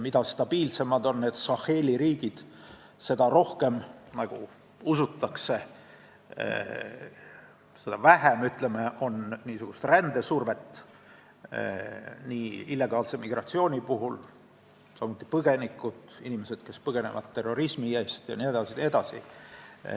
Mida stabiilsemad on need Saheli riigid, seda rohkem usutakse, et on ka vähem rändesurvet nii illegaalse migratsiooni kui põgenike mõttes – inimesed põgenevad ju terrorismi eest jne, jne.